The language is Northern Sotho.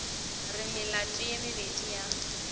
re melato ye mebedi ya